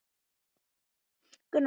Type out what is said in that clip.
Nei, bara íbúðir sem búið var að leigja